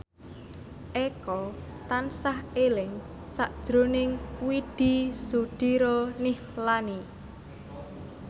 Eko tansah eling sakjroning Widy Soediro Nichlany